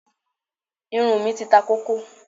Irun mí ti ta kókó.